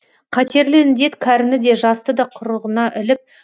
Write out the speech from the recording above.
қатерлі індет кәріні де жасты да құрығына іліп